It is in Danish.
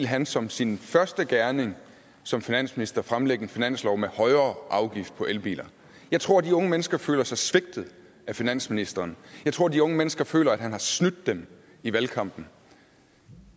han som sin første gerning som finansminister ville fremlægge en finanslov med højere afgift på elbiler jeg tror at de unge mennesker føler sig svigtet af finansministeren jeg tror at de unge mennesker føler at han har snydt dem i valgkampen